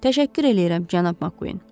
Təşəkkür eləyirəm, cənab Makkuin.